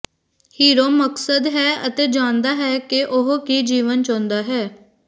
hero ਮਕਸਦ ਹੈ ਅਤੇ ਜਾਣਦਾ ਹੈ ਕਿ ਉਹ ਕੀ ਜੀਵਨ ਚਾਹੁੰਦਾ ਹੈ